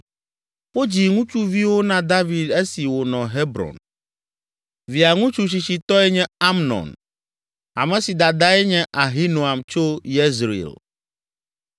Wodzi ŋutsuviwo na David esi wònɔ Hebron. Via ŋutsu tsitsitɔe nye Amnon, ame si dadae nye Ahinoam tso Yezreel.